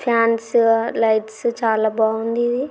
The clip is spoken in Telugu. ఫ్యాన్స్ లైట్స్ చాలా బాగుంది ఇది.